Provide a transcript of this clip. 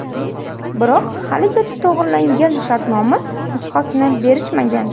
Biroq haligacha to‘g‘rilangan shartnoma nusxasini berishmagan”.